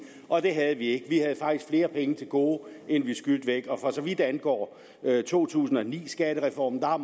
og det havde vi ikke vi havde faktisk flere penge til gode end vi skyldte væk for så vidt angår to tusind og ni skattereformen har